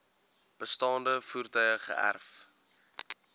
bestaande voertuie geërf